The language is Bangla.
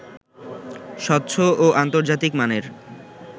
স্বচ্ছ ও আন্তর্জাতিক মানের